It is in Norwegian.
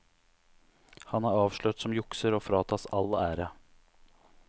Han er avslørt som jukser og fratas all ære.